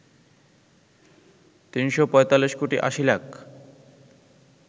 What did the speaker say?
৩৪৫ কোটি ৮০ লাখ